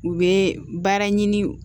U bɛ baara ɲini